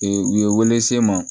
u ye welese n ma